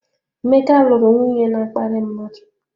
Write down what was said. Emeka lụrụ nwunye na-akparị mmadụ.